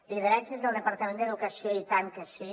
lideratges del departament d’educació i tant que sí